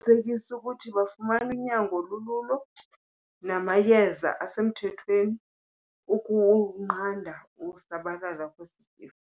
ukuthi bafumana unyango olululo namayeza asemthethweni ukunqanda ukusabalala kwesi sifo.